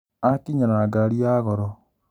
Akinya na ngari ya goro